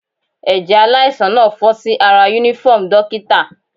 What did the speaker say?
Ẹ̀jẹ̀ aláìsàn náà fọ́n sí ara uniform dókítà.